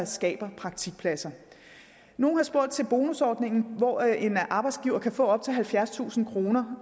skaber praktikpladser nogle har spurgt til bonusordningen hvor en arbejdsgiver kan få op til halvfjerdstusind kroner